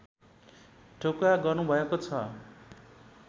ठोकुवा गर्नुभएको छ